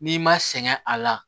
N'i ma sɛgɛn a la